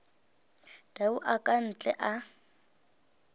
tau a ka ntle a